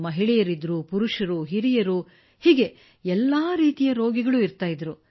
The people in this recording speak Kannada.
ಮಹಿಳೆಯರು ಪುರುಷರು ಹಿರಿಯರು ಎಲ್ಲ ರೀತಿಯ ರೋಗಿಗಳೂ ಇರುತ್ತಿದ್ದರು